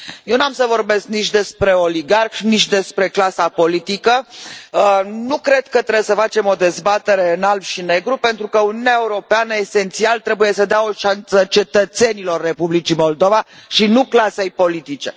Eu nu am să vorbesc nici despre oligarhi, nici despre clasa politică, nu cred că trebuie să facem o dezbatere în alb și negru pentru că Uniunea Europeană esențial trebuie să dea o șansă cetățenilor Republicii Moldova și nu clasei politice.